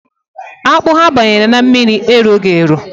Akpụ ha banyere n’ime mmiri eroghi ero